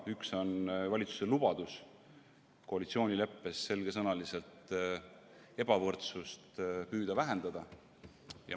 Esimene teema on valitsuse lubadus, mis koalitsioonileppes on selgesõnaliselt kirjas, püüda vähendada ebavõrdsust.